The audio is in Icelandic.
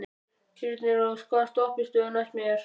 Þyrnirós, hvaða stoppistöð er næst mér?